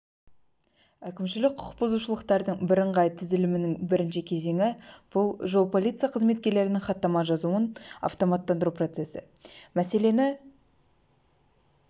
әкімшілік құқық бұзушылықтардың бірыңғай тізілімінің бірінші кезеңі бұл жол полиция қызметкерлерінің хаттама жазуын автоматтандыру процесі мәселені